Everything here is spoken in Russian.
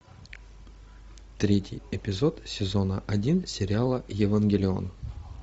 третий эпизод сезона один сериала евангелион